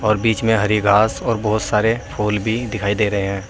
बीच में हरी घास और बहोत सारे फूल भी दिखाई दे रहे हैं।